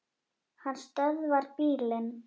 Hann stöðvar bílinn.